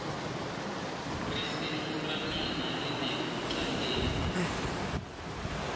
risimu ramina rilekutlangeni